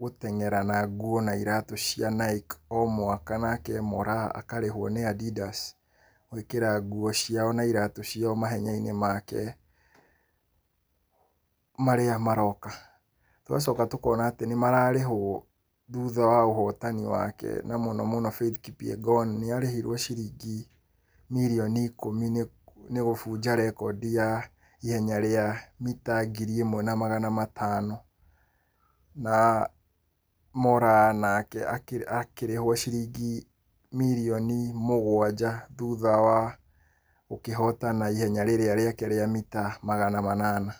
gũteng'era na nguo na iratũ cia Nike o mwaka. Nake Moraa akarĩhwo nĩ Adidas gwĩkĩra nguo ciao na iratũ ciao mahenya-inĩ make marĩa maroka. Tũgacoka tũkona atĩ nĩ mararĩhwo thutha wa ũhotani wake, na mũno mũno Faith Kipyegon nĩ arĩhirwo ciringi mirioni ikũmi nĩ gũbunja rekondi ya ihenya rĩa mita ngiri ĩmwe na magana matano. Na Moraa nake akĩrĩhwo ciringi mirioni mũgwanja thutha wa gũkĩhotana ihenya rĩrĩa rĩake rĩa mita magana manana.